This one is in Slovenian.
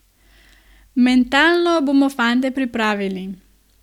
Mentalno bomo fante pripravili.